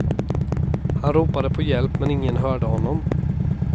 Han ropade på hjälp men ingen hörde honom.